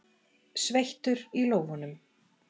Sveittur í lófunum.